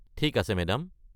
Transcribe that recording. ঠিক আছে মেদাম।